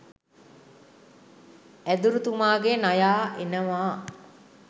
ඇදුරු තුමාගෙ නයා එනවා